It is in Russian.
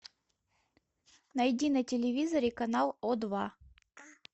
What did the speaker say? найди на телевизоре канал о два